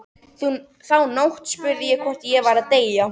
Þá nótt spurði ég hvort ég væri að deyja.